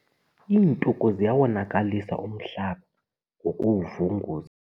Iintuku ziyawonakalisa umhlaba ngokuwuvunguza.